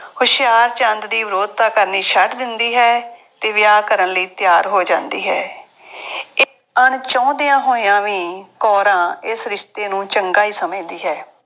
ਹੁਸ਼ਿਆਰਚੰਦ ਦੀ ਵਿਰੋਧਤਾ ਕਰਨੀ ਛੱਡ ਦਿੰਦੀ ਹੈ ਅਤੇ ਵਿਆਹ ਕਰਨ ਲਈ ਤਿਆਰ ਹੋ ਜਾਂਦੀ ਹੈ। ਅਣਚਾਹੁੰਦਿਆਂ ਹੋਇਆਂ ਵੀ ਕੌਰਾਂ ਇਸ ਰਿਸ਼ਤੇ ਨੂੰ ਚੰਗਾ ਹੀ ਸਮਝਦੀ ਹੈ।